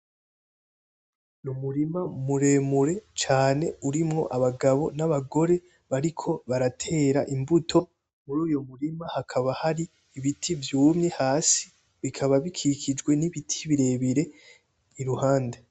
Umurima muremure cane urimwo abagabo n'abagore bariko baratera imbuto, muruyo murima hakaba hari ibiti vyumye hasi bikaba bikikijwe nibiti birebire iruhande..